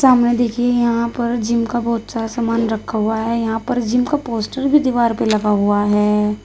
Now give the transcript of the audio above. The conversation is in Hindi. सामने देखिए यहां पर जिम का बहोत सारा सामान रखा हुआ है यहां पर जिम का पोस्टर भी दीवार पे लगा हुआ है।